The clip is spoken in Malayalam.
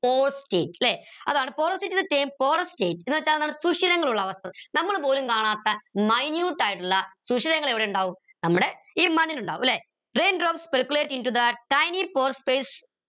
അതാണ് porosity porous state എന്ന് വെച്ചാൽ എന്താണ് ശൂഷിരങ്ങളുള്ള അവസ്ഥ നമ്മൾ പോലും കാണാത്ത minute ആയിട്ടുള്ള ശൂഷിരങ്ങൾ എവിടെ ഉണ്ടാവും നമ്മുടെ ഈ മണ്ണിൽ ഉണ്ടാവും ല്ലെ raindrops circulate into the tiny pore space